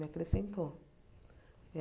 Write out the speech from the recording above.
Me acrescentou. É